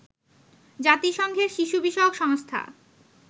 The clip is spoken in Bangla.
জাতিসংঘের শিশু বিষয়ক সংস্থা